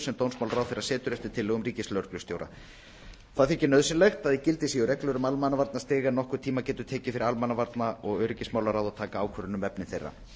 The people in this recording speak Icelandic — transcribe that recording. sem dómsmálaráðherra setur eftir tillögum ríkislögreglustjóra nauðsynlegt þykir að í gildi séu reglur um almannavarnastig en nokkurn tíma getur tekið fyrir almannavarna og öryggismálaráð að taka ákvörðun um efni þeirra